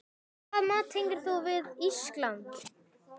Hvaða mat tengir þú við Ísland?